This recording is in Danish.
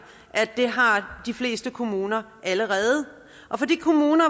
at det har de fleste kommuner allerede og for de kommuner